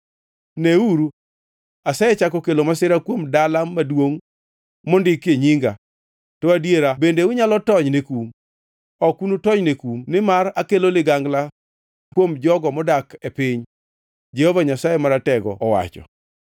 Neuru, asechako kelo masira kuom dala maduongʼ mondikie Nyinga, to adiera bende unyalo tony ne kum? Ok unutonyne kum nimar akelo ligangla kuom jogo modak e piny, Jehova Nyasaye Maratego owacho.’